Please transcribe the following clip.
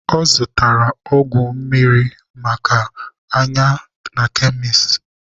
Ọ zụtara ọgwụ mmiri maka anya na kemis.